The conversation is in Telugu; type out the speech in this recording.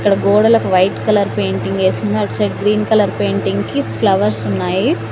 అక్కడ గోడలకు వైట్ కలర్ పెయింటింగ్ ఏసుంది అటు సైడు గ్రీన్ కలర్ పెయింటింగ్ కి ఫ్లవర్స్ ఉన్నాయి.